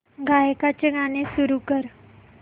गायकाचे गाणे सुरू कर